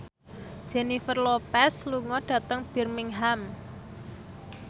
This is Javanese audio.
Jennifer Lopez lunga dhateng Birmingham